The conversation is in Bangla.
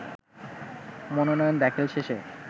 মনোনয়ন দাখিল শেষে